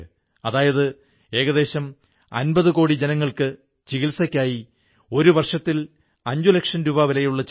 ഐക്യവും ആരോഗ്യവും വർധിപ്പിക്കാൻ യൂണിറ്റിയും ഇമ്യൂണിറ്റയും വർധിപ്പിക്കാൻ ഇതിനേക്കാൾ നല്ല രീതി വേറെന്തുണ്ടാകും